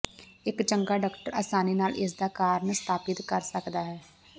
ਇੱਕ ਚੰਗਾ ਡਾਕਟਰ ਆਸਾਨੀ ਨਾਲ ਇਸਦਾ ਕਾਰਨ ਸਥਾਪਤ ਕਰ ਸਕਦਾ ਹੈ